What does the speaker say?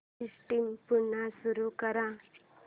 system पुन्हा सुरू कर